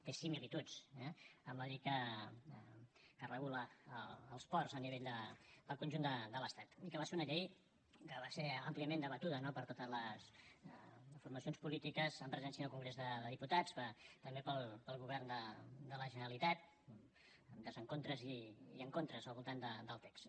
té similituds eh amb la llei que regula els ports a nivell del conjunt de l’estat i que va ser una llei que va ser àmpliament debatuda no per totes les formacions polítiques amb presència en el congrés dels diputats també pel govern de la generalitat amb desencontres i encontres al voltant del text